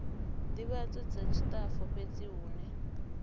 ndivhadzo dza tshitafu fhethu hune